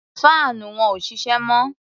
Faanu wọn ò ṣiṣẹ́ mọ́.